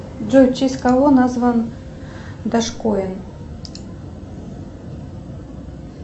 джой в честь кого назван дошкоин